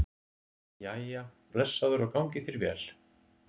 Jæja, blessaður og gangi þér vel